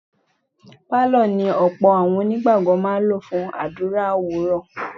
Pálọ̀ ni ọ̀pọ̀ àwọn onígbàgbọ́ máa ń lò fún àdúrà òwúrọ̀.